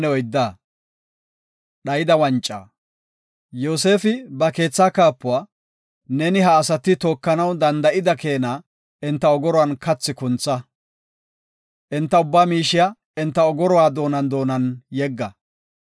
Yoosefi ba keetha kaapuwa, “Neeni ha asati tookanaw denda7ida keena enta ogoruwan kathi kuntha. Enta ubbaa miishiya enta ogoruwa doonan doonan yegga.